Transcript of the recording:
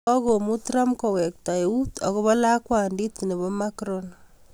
Kagomu Trump kowekta euut akobo lakwandit nebo macron